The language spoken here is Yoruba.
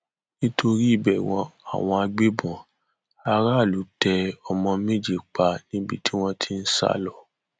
nítorí ìbẹrù àwọn agbébọn aráàlú tẹ ọmọ méje pa níbi tí wọn ti ń sá lọ